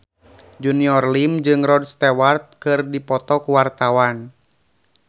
Junior Liem jeung Rod Stewart keur dipoto ku wartawan